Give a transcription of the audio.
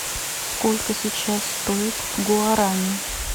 сколько сейчас стоит гуарани